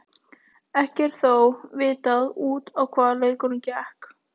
Ekki er þó vitað út á hvað leikurinn gekk.